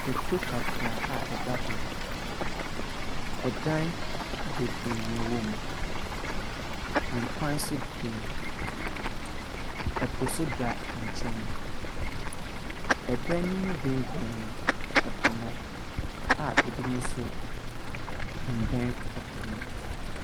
Kuro kakraa a ɛda hɔ. ℇdan bebiree na ɛwɔ mu. Akwan nso deda mu. ℇpo nso da nkyɛn. ℇdan no mu bɛmbɛn ɛpo no a ebinom nso mmɛn ɛpo no.